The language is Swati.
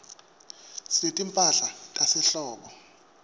sinetimphahla tasehlobo